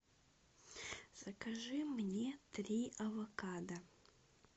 закажи мне три авокадо